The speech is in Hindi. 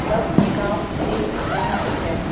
सब साफ दिख रहा है।